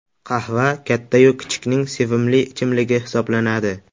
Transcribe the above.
Qahva katta-yu kichikning sevimli ichimligi hisoblanadi.